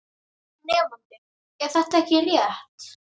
Nemandi: Er þetta ekki rétt?